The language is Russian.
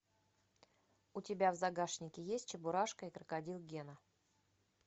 у тебя в загашнике есть чебурашка и крокодил гена